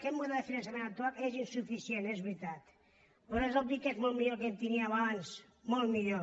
aquest model de finançament actual és insuficient és veritat però és obvi que és molt millor que el que teníem abans molt millor